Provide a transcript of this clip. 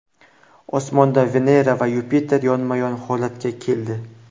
Osmonda Venera va Yupiter yonma-yon holatga keldi.